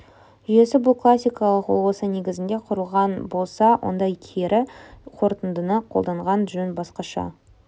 жүйесі бұл классикалық мысал ол осы негізінде құрылған болса онда кері қорытындыны қолданған жөн баскаша